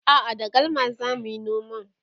a'a da galma zamuyi noman